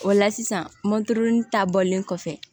O la sisan mɔntili ta bɔlen kɔfɛ